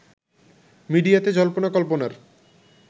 মিডিয়াতে জল্পনা কল্পনার